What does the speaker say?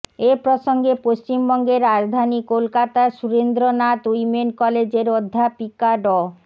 এ প্রসঙ্গে পশ্চিমবঙ্গের রাজধানী কোলকাতার সুরেন্দ্রনাথ উইমেন কলেজের অধ্যাপিকা ড